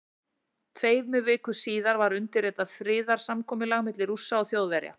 Tveimur vikum síðar var undirritað friðarsamkomulag milli Rússa og Þjóðverja.